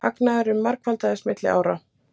Hagnaðurinn margfaldaðist milli ára